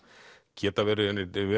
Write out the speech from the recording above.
geta verið